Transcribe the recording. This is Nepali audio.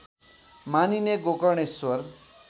मानिने गोकर्णेश्वर